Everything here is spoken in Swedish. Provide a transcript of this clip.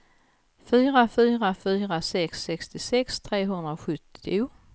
fyra fyra fyra sex sextiosex trehundrasjuttio